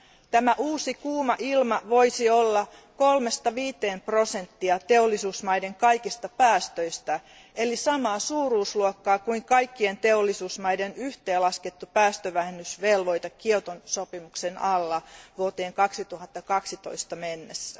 Tämä uusi kuuma ilma voisi olla kolmesta viiteen prosenttia teollisuusmaiden kaikista päästöistä eli samaa suuruusluokkaa kuin kaikkien teollisuusmaiden yhteenlaskettu päästövähennysvelvoite Kioton sopimuksen alla vuoteen 2012 mennessä.